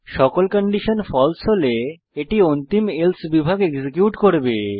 সকল condition false হলে এটি অন্তিম এলসে বিভাগ এক্সিকিউট করবে